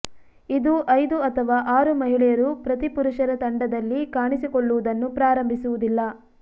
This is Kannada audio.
ಇದು ಐದು ಅಥವಾ ಆರು ಮಹಿಳೆಯರು ಪ್ರತಿ ಪುರುಷರ ತಂಡದಲ್ಲಿ ಕಾಣಿಸಿಕೊಳ್ಳುವುದನ್ನು ಪ್ರಾರಂಭಿಸುವುದಿಲ್ಲ